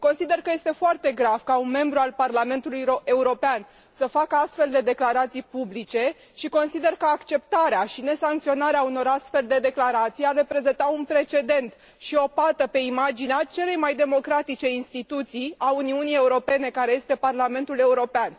Consider că este foarte grav ca un membru al Parlamentului European să facă astfel de declarații publice și consider că acceptarea și nesancționarea unor astfel de declarații ar reprezenta un precedent și o pată pe imaginea celei mai democratice instituții a Uniunii Europene, care este Parlamentul European.